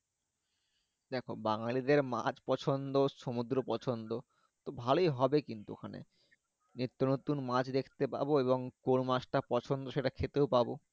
দেখ বাঙালিদের মাছ পছন্দ সমুদ্র পছন্দ তো ভালোই হবে কিন্তু ওখানে নিত্য নতুন মাছ দেখতে পাবো এবং কোন মাছটা পছন্দ সেটা খেতেও পাবো